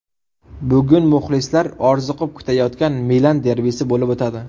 Bugun muxlislar orziqib kutayotgan Milan derbisi bo‘lib o‘tadi.